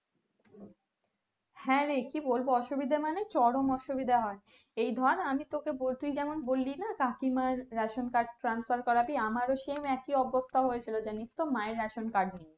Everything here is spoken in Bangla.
হ্যাঁ রে কি বলবো অসুবিধা মানে চরম অসুবিধা হয় এই ধর আমি তোকে তুই যেমন বললিনা কাকিমার ration card transfer করাবি আমারও same একি অবস্থা হয়েছিল জানিসতো মা এর ration card নিয়ে